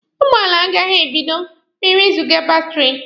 Ụgbọala agaghị ebido ma ewezụga batiri.